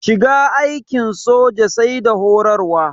Shiga aikin soja sai da horarwa.